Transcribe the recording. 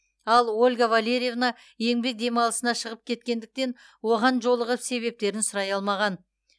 ал ольга валерьевна еңбек демалысына шығып кеткендіктен оған жолығып себептерін сұрай алмаған